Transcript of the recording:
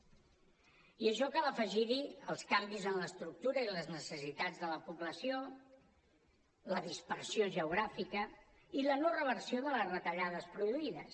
i a això cal afegir hi els canvis en l’estructura i les necessitats de la població la dispersió geogràfica i la no reversió de les retallades produïdes